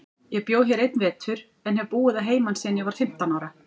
Ég bjó hér einn vetur, en hef búið að heiman síðan ég var fimmtán ára.